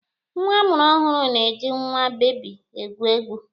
Nwa a mụrụ ọhụrụ na-eji nwa bebi egwu egwu.